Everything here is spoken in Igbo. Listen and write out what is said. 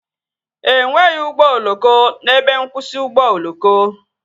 E nweghị ụgbọ oloko n'ebe nkwụsị ụgbọ oloko